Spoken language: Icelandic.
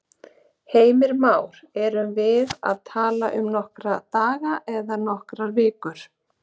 Heimir Már: Erum við að tala um nokkra daga eða nokkrar vikur?